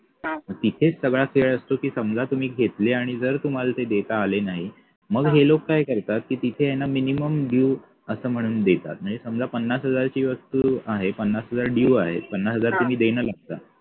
तिथेच सगळा खेळ असतो की समजा तुम्ही घेतले आणि जर तुम्हाला ते देता आले नाही मग हे लोक काय करतात तिथे न minimum dew असं म्हणून देतात नाही समजा पन्नास हजाराची वस्तू आहे पन्नास हजार dew आहे पन्नास हजार तुम्ही देणं लागता